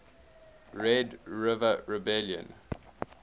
red river rebellion